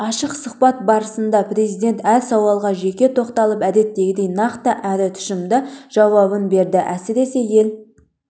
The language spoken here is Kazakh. ашық сұхбат барысында президент әр сауалға жеке тоқталып әдеттегідей нақты әрі тұщымды жауабын берді әсіресе ел